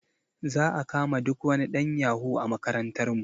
Za a kama duk wani ɗan yahu a makarantar mu